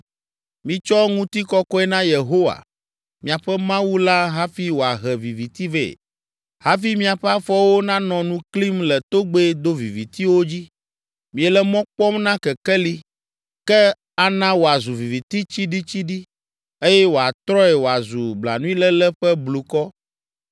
Mitsɔ ŋutikɔkɔe na Yehowa, miaƒe Mawu la hafi wòahe viviti vɛ, hafi miaƒe afɔwo nanɔ nu klim le togbɛ dovivitiwo dzi. Miele mɔ kpɔm na kekeli, ke ana wòazu viviti tsiɖitsiɖi eye wòatrɔe wòazu blanuiléle ƒe blukɔ.